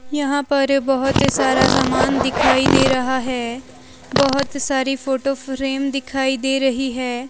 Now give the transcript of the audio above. यहां पर बहोत सारा सामान दिखाई दे रहा है बहोत सारी फोटो फ्रेम दिखाई दे रही है।